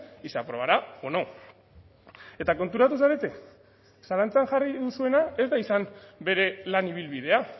y se aprobará o no eta konturatu zarete zalantzan jarri duzuena ez da izan bere lan ibilbidea